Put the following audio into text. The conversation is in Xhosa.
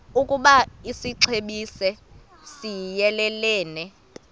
ukoba isixesibe siyelelene